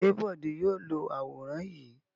Ṣé Bọ̀dé yóò lo àwòrán yìí?